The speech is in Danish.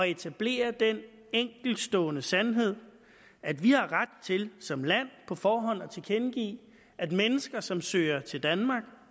etablere den enkeltstående sandhed at vi har ret til som land på forhånd at tilkendegive at mennesker som søger til danmark